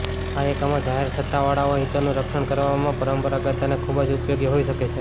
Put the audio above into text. આ એકમો જાહેર સત્તાવાળાઓ હિતોનું રક્ષણ કરવામાં પારંગત અને ખૂબ જ ઉપયોગી હોઈ શકે છે